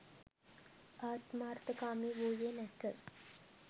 ආත්මාර්ථකාමී වූයේ නැත.